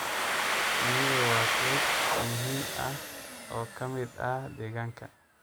Shinnidu waa qayb muhiim ah oo ka mid ah deegaanka.